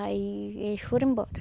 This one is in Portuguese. Aí eles foram embora.